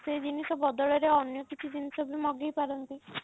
ସେ ଜିନିଷ ବଦଳ ରେ ଅନ୍ୟ କିଛି ଜିନିଷ ବି ମଗେଇପାରନ୍ତି